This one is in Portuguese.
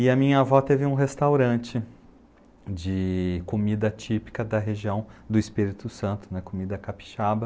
E a minha avó teve um restaurante de comida típica da região do Espírito Santo, comida capixaba.